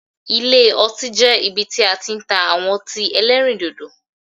Ilé ọtí jẹ́ ibi tí a ti n ta àwọn otín elérìndòdò